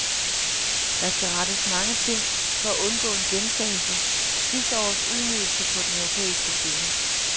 Der skal rettes mange ting for at undgå en gentagelse sidste års ydmygelse på den europæiske scene.